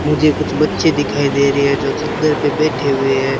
मुझे कुछ बच्चे दिखाई दे रही है जो चद्दर पे बैठे हुए है।